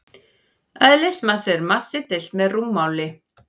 Eðlismassi er massi deilt með rúmmáli.